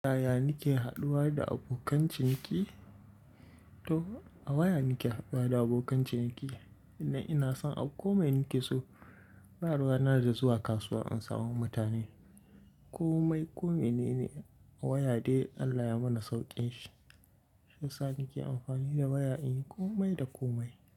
Waya nake haɗuwa da abokan ciniki? To a waya nake haɗuwa da abokan ciniki. Idan ina son a komai nake so, ba ruwa na da zuwa kasuwa in samu mutane. Komai, komai ne ne a waya dai Allah ya mana sauƙin shi. Shi yasa nake amfani da waya in yi komai da komai.